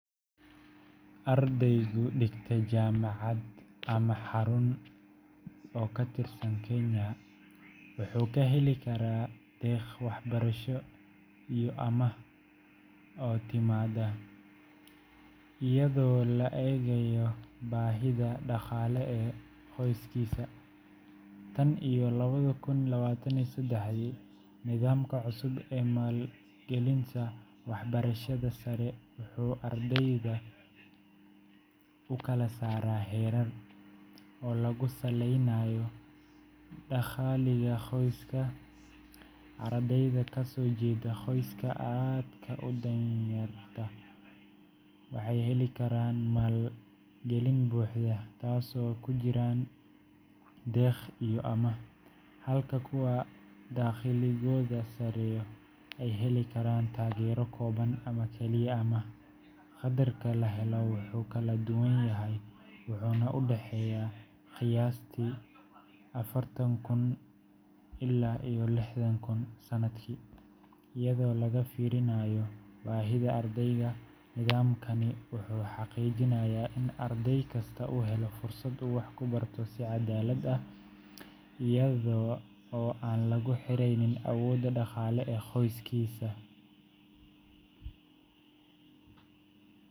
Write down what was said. Ardayga dhigta jaamacad ama xarun TVET oo ka tirsan Kenya wuxuu ka heli karaa deeq waxbarasho iyo amaah oo ka timaadda iyadoo la eegayo baahida dhaqaale ee qoyskiisa. Tan iyo laba kun labatan iyo sedex, nidaamka cusub ee maalgelinta waxbarashada sare wuxuu ardayda u kala saaraa heerar oo lagu saleynayo dakhliga qoyska. Ardayda ka soo jeeda qoysaska aadka u danyarta ah waxay heli karaan maalgelin buuxda—taasoo ay ku jiraan deeq iyo amaah, halka kuwa dakhligoodu sarreeyo ay heli karaan taageero kooban ama kaliya amaah. Qaddarka la helo wuu kala duwan yahay, wuxuuna u dhexeeyaa qiyaastii afartan kun ilaa lixdan kun sanadkii, iyadoo laga fiirinayo baahida ardayga. Nidaamkani wuxuu xaqiijinayaa in arday kasta uu helo fursad uu wax ku barto si cadaalad ah, iyada oo aan lagu xirnayn awoodda dhaqaale ee qoyskiisa.